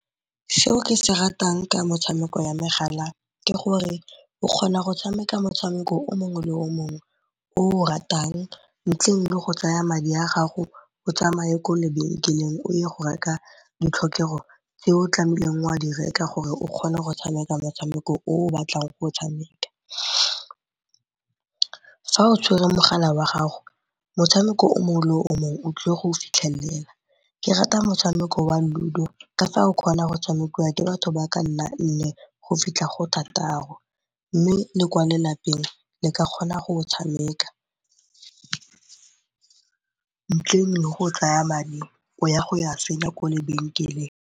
Se o ke se ratang ke motshameko ya megala ke gore o kgona go tshameka motshameko o mongwe le o mongwe o o ratang ntleng le go tsaya madi a gago o tsamaye kwa lebenkeleng o ye go reka ditlhokego tse o tlamehileng wa di reka gore o kgone go tshameka motshameko o o batlang go o tshameka. Fa o tshwere mogala wa gago motshameko o mongwe le o mongwe o tlile go fitlhelela, ke rata motshameko wa Ludo ka fa o kgona go tshamekiwa ke batho ba ka nna nne go fitlha go thataro mme le kwa lelapeng le ka kgona go o tshameka ntle le go tsaya madi o ya go a senya kwa lebenkeleng.